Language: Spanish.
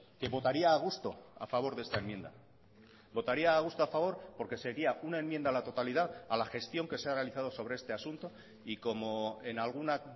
que votaría a gusto a favor de esta enmienda votaría a gusto a favor porque sería una enmienda a la totalidad a la gestión que se ha realizado sobre este asunto y como en alguna